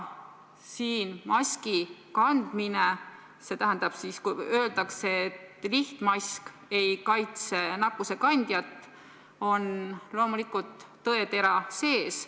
Selles, kui öeldakse, et lihtmask ei kaitse nakkusekandjat, on loomulikult tõetera sees.